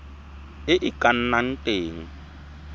e e ka nnang teng